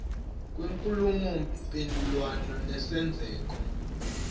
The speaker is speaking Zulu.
kwenkulumo mpendulwano nesenzeko